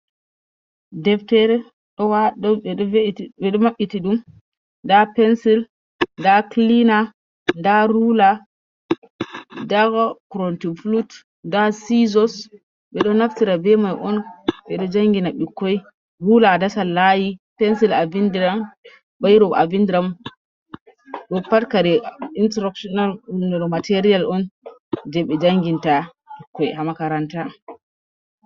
Deftere ɓe ɗo maɓɓiti ɗum, nda pencil nda cleana nda ruula nda core ting flut nda siizos, ɓe ɗo naftira bee mai on ɓe jangina ɓikkoi ruula a dasan laayi, pensil a bindiram bairo a bindiram ɗoo pat kare instructional material on jei be janginta ɓikkoi ha makaranta.